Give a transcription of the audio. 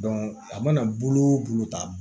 a mana bolo o bolo ta